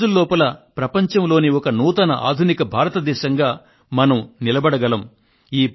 నెల రోజుల లోపు ప్రపంచంలోని ఒక నూతన ఆధునిక భారతదేశంగా మనం నిలబడగలుగుతాము